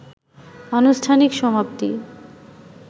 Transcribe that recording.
আনুষ্ঠানিক সমাপ্তি